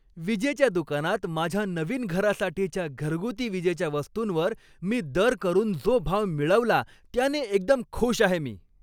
विजेच्या दुकानात माझ्या नवीन घरासाठीच्या घरगुती विजेच्या वस्तूंवर मी दर करून जो भाव मिळवला त्याने एकदम खुश आहे मी.